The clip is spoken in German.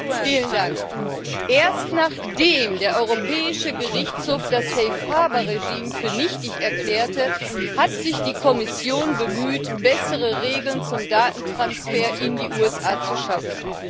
Frau Präsidentin! Erst nachdem der Europäische Gerichtshof das Safe-Harbour-Regime für nichtig erklärte, hat sich die Kommission bemüht, bessere Regeln zum Datentransfer in die USA zu schaffen.